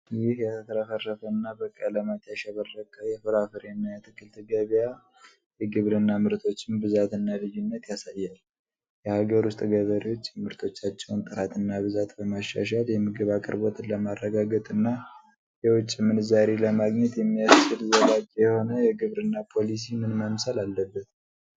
ይህ የተትረፈረፈና በቀለማት ያሸበረቀ የፍራፍሬና የአትክልት ገበያ የግብርና ምርቶችን ብዛትና ልዩነት ያሳያል። የሀገር ውስጥ ገበሬዎች የምርቶቻቸውን ጥራትና ብዛት በማሻሻል የምግብ አቅርቦትን ለማረጋገጥና የውጭ ምንዛሪ ለማግኘት የሚያስችል ዘላቂ የሆነ የግብርና ፖሊሲ ምን መምሰል አለበት?